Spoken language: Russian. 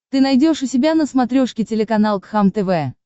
ты найдешь у себя на смотрешке телеканал кхлм тв